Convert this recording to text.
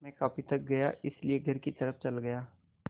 मैं काफ़ी थक गया था इसलिए घर की तरफ़ चला गया